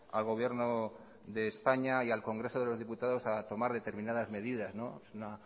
al gobierno de españa y al congreso de los diputados a tomar determinadas medidas es una